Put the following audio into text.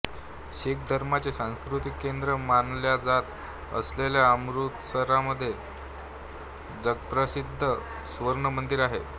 शीख धर्माचे सांस्कृतिक केंद्र मानल्या जात असलेल्या अमृतसरमध्ये जगप्रसिद्ध सुवर्णमंदिर आहे